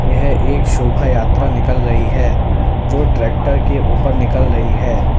यह एक शोभायात्रा निकल रही है जो ट्रैक्टर के ऊपर निकल रही है।